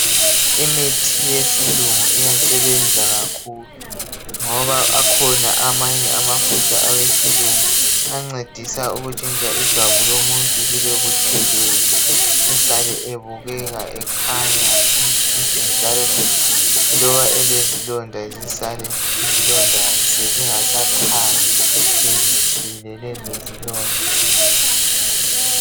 Imithi yesilungu iyasebenza kakhulu ngoba akhona amanye amafutha awesilungu ancedisa ukutshintsha ijwabu lomuntu libe butshelezi esale ebukeka ekhanya emtshintsha njalo, loba elezilonda zisale izilonda sezingasakhanyi sezitshile lezo zilonda.